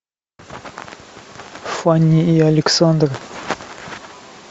фанни и александр